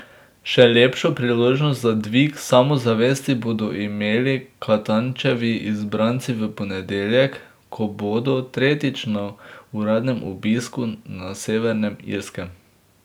Še lepšo priložnost za dvig samozavesti bodo imeli Katančevi izbranci v ponedeljek, ko bodo tretjič na uradnem obisku na Severnem Irskem.